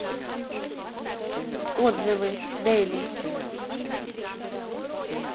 отзывы делис